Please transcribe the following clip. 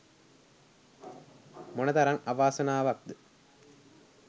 මොනතරම් අවාසනාවක්ද?